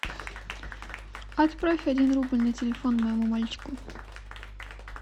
отправь один рубль на телефон моему мальчику